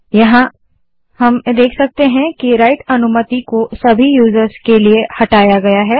अब हम देख सकते हैं कि राइट अनुमति को सभी यूजर्स के लिए हटाया गया है